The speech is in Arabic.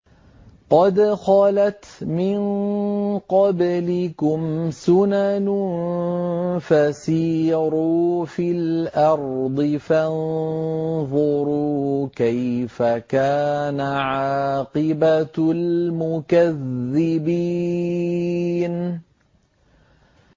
قَدْ خَلَتْ مِن قَبْلِكُمْ سُنَنٌ فَسِيرُوا فِي الْأَرْضِ فَانظُرُوا كَيْفَ كَانَ عَاقِبَةُ الْمُكَذِّبِينَ